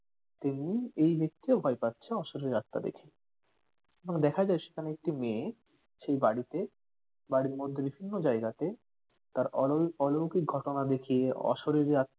তেমনি এই ব্যাক্তিও ভয় পাচ্ছে অশরীরী আত্মা দেখে এবং দেখা যায় সেখানে একটি মেয়ে সেই বাড়িতে বাড়ির মধ্যে বিভিন্ন জায়গাতে তার ওলল অলৈকিক ঘটনা দেখিয়ে অশরীরী আত্মার